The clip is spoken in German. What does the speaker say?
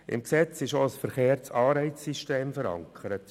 Im Gesetz ist auch ein verkehrtes Anreizsystem verankert.